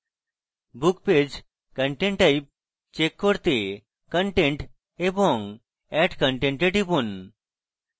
book page content type check করতে content এবং add content এ টিপুন